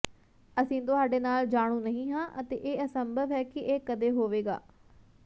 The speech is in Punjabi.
ਅਸੀਂ ਤੁਹਾਡੇ ਨਾਲ ਜਾਣੂ ਨਹੀਂ ਹਾਂ ਅਤੇ ਇਹ ਅਸੰਭਵ ਹੈ ਕਿ ਇਹ ਕਦੇ ਹੋਵੇਗਾ